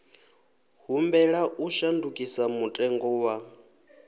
humbela u shandukisa mutengo wa